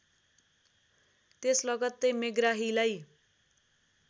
त्यस लगत्तै मेग्राहीलाई